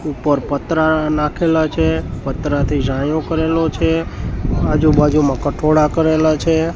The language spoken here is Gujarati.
ઉપર પત્રા નાખેલા છે પત્રાથી છાંયો કરેલો છે આજુ-બાજુમાં કઠોડા કરેલા છે.